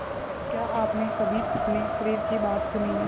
पर क्या आपने कभी अपने शरीर की बात सुनी है